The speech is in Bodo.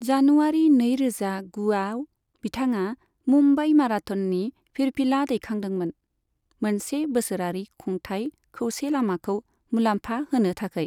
जानुआरि नैरोजा गुआव बिथाङा मुम्बाइ माराथननि फिरफिला दैखांदोंमोन, मोनसे बोसोरारि खुंथाइ खौसे लामाखौ मुलाम्फा होनो थाखाय।